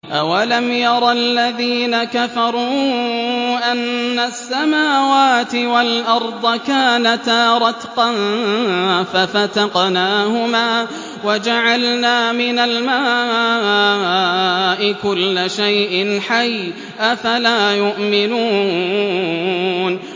أَوَلَمْ يَرَ الَّذِينَ كَفَرُوا أَنَّ السَّمَاوَاتِ وَالْأَرْضَ كَانَتَا رَتْقًا فَفَتَقْنَاهُمَا ۖ وَجَعَلْنَا مِنَ الْمَاءِ كُلَّ شَيْءٍ حَيٍّ ۖ أَفَلَا يُؤْمِنُونَ